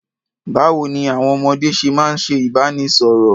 Báwo ní àwọn ọmọdé ṣe máa ń ṣe ìbánisọ̀rọ̀?